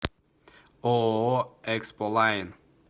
ооо эксполайн